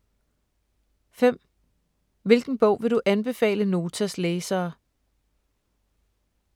5) Hvilken bog vil du anbefale Notas læsere?